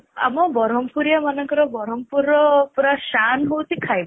ଆମ ବ୍ରହ୍ମପୁରୀଆ ମାନଙ୍କର ବ୍ରହ୍ମପୁରର ପୁରା ଶାନ ହଉଚି ଖାଇବା